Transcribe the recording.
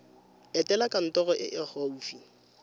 etela kantoro e e gaufi